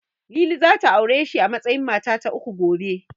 Lili zata aure shi a matsayin mata ta uku, gobe.